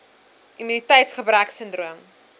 immuniteits gebrek sindroom